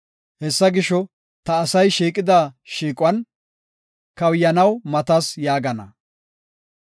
Hesaa gisho, ta asay shiiqida shiiquwan, kawuyanaw matas” yaagana.